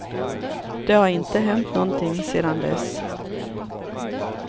Det har inte hänt någonting sedan dess.